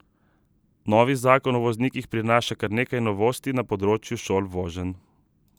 Novi zakon o voznikih prinaša kar nekaj novosti na področju šol voženj.